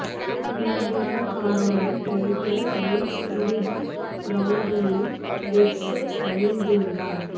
உண்மையான காரணம் Tiger Woods இறுதி ரவுண்ட்களில் ரெட் ஷர்ட்ஸ் அணிந்துள்ளார்